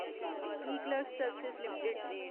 eClerx service limited